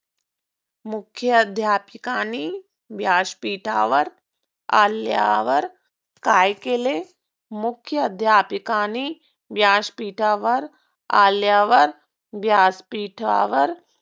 मुख्याध्यपिकानी व्यासपीठावर आल्यावर काय केले? मुख्याध्यपिकानी व्यासपीठावर आल्यावर व्यासपीठावर